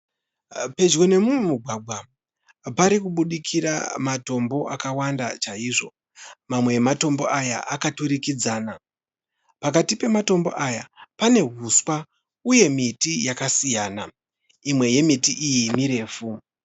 Pedyo nemumwe mugwagwa pari kubudikira matombo akawanda chaizvo. Mamwe ematombo aya akaturikidzana. Pakati pematombo aya pane huswa uye miti yakasiyana. Imwe yemiti iyi mirefu.